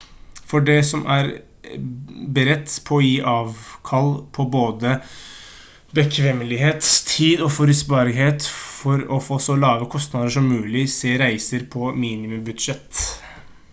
for de som er beredt på å gi avkall på både bekvemmelighet tid og forutsigbarhet for å få så lave kostnader som mulig se reiser på minimum budsjett